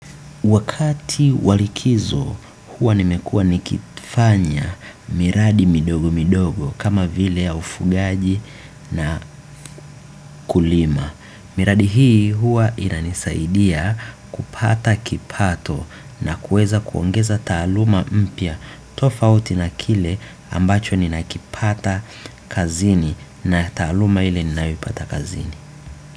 Wakati wa likizo huwa nimekuwa nikifanya miradi midogo midogo kama vile ya ufugaji na kulima. Miradi hii huwa inanisaidia kupata kipato na kueza kuongeza taaluma mpya tofauti na kile ambacho nina kipata kazini na taaluma ile ninayoipata kazini.